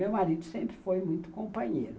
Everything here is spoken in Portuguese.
Meu marido sempre foi muito companheiro.